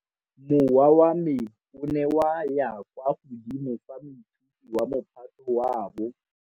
Mowa wa me o ne wa ya kwa godimo fa moithuti wa Mophato wa bo.